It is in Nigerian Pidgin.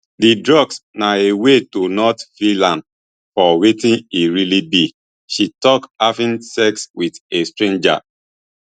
di drugs na a way to not feel am for wetin e really be she tok having sex wit a stranger